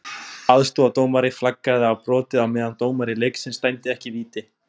Aðstoðardómari flaggaði á brotið, á meðan dómari leiksins dæmdi ekki víti.